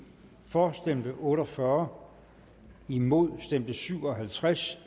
for stemte otte og fyrre imod stemte syv og halvtreds